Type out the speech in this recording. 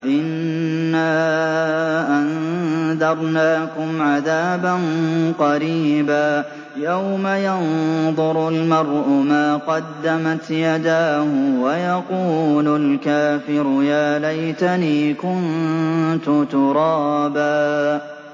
إِنَّا أَنذَرْنَاكُمْ عَذَابًا قَرِيبًا يَوْمَ يَنظُرُ الْمَرْءُ مَا قَدَّمَتْ يَدَاهُ وَيَقُولُ الْكَافِرُ يَا لَيْتَنِي كُنتُ تُرَابًا